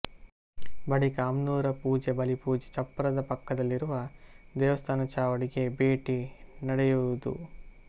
ಬಳಿಕ ಅಮ್ನೂರ ಪೂಜೆ ಬಲಿಪೂಜೆ ಚಪ್ಪರದ ಪಕ್ಕದಲ್ಲಿರುವ ದೈವಸ್ಥಾನ ಚಾವಡಿಗೆ ಭೇಟಿ ನಡೆಯುವುದು